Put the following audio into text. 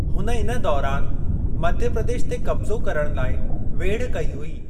हुन इन दौरान मध्य प्रदेश ते कब्ज़ो करण लाइ वेढ़ कई हुई।